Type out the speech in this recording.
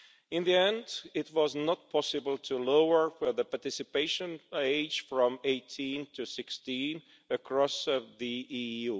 In the end, it was not possible to lower the participation age from 18 to 16 across the EU.